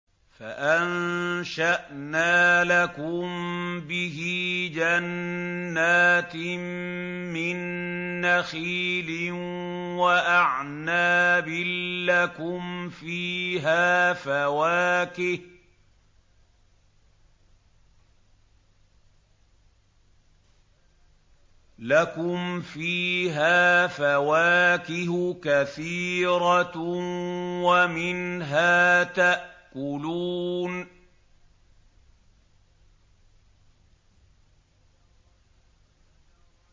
فَأَنشَأْنَا لَكُم بِهِ جَنَّاتٍ مِّن نَّخِيلٍ وَأَعْنَابٍ لَّكُمْ فِيهَا فَوَاكِهُ كَثِيرَةٌ وَمِنْهَا تَأْكُلُونَ